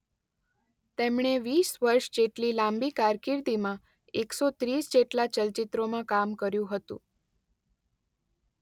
તેમણે વીસ વર્ષ જેટલી લાંબી કારકિર્દીમાં એકસો ત્રીસ જેટલાં ચલચિત્રોમાં કામ કર્યું હતું.